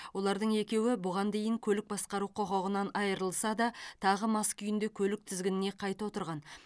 олардың екеуі бұған дейін көлік басқару құқығынан айырылса да тағы мас күйінде көлік тізгініне қайта отырған